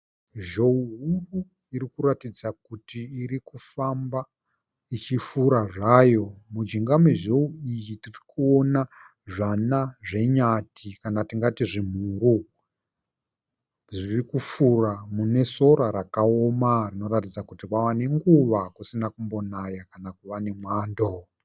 Zhou huru irikuratidza kuti irikufamba ichifura zvayo. Mujinga mezhou iyi tirikuona zvana zvenyati kana tingati zvimhuru zviri kufura mune sora rakaoma rinoratidza kuti kwave nenguva kusina kumbonaya kana kuva nemwando.